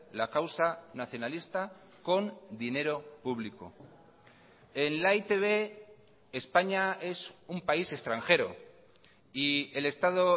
la causa nacionalista con dinero público en la e i te be españa es un país extranjero y el estado